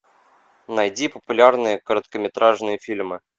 найди популярные короткометражные фильмы